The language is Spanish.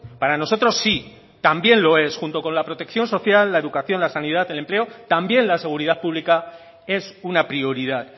para nosotros sí también lo es junto con la protección social la educación la sanidad el empleo también la seguridad pública es una prioridad